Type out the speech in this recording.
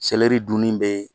dunni bee